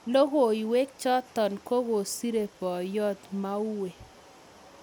Logoiwek chotok ko kosire boyot maue.